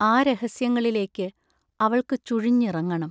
ആ രഹസ്യങ്ങളിലേക്ക് അവൾക്കു ചുഴിഞ്ഞിറങ്ങണം.